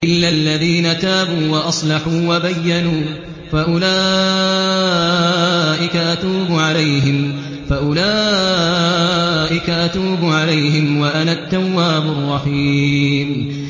إِلَّا الَّذِينَ تَابُوا وَأَصْلَحُوا وَبَيَّنُوا فَأُولَٰئِكَ أَتُوبُ عَلَيْهِمْ ۚ وَأَنَا التَّوَّابُ الرَّحِيمُ